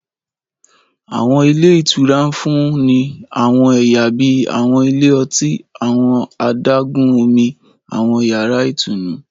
Àwọn ilé ìtura ń fún ni àwọn ẹyà bíi àwọn ilé ọtí, àwọn adágún-Omi, àwọn yàrá ìtùnú